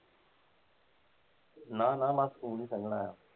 ਨਾ, ਨਾ, ਨਾ ਖੂਨ ਈ ਸੰਘਣਾ ਆਇਆ।